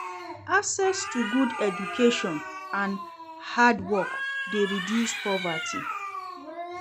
Access to good education and hard work de reduce poverty